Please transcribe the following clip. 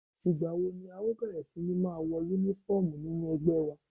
Ìgbàwo ni à ó bẹ̀rẹ̀ sí ní máa wọ Únífọ́ọ̀mù nínú ẹgbẹ́ wa?